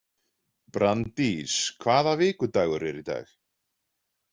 Branddís, hvaða vikudagur er í dag?